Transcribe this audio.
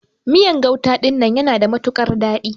Miyan gauta dinnan yana da matukar dadi.